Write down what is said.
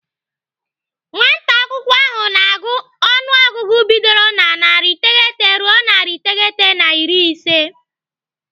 Nwata akwụkwọ ahụ na-agụ ọnụọgụgụ bidoro na narị iteghete ruo narị iteghete na iri ise.